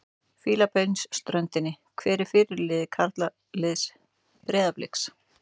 Fílabeinsströndinni Hver er fyrirliði karlaliðs Breiðabliks?